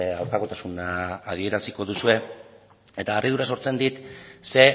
aurkakotasuna adieraziko duzue eta harridura sortzen dit ze